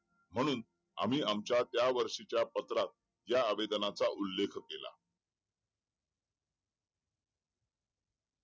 म्हणून आम्ही आमच्या त्या वर्षीच्या पत्रात या आवेदनाचा उल्लेख केला